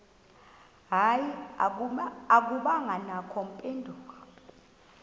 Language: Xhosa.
hayi akubangakho mpendulo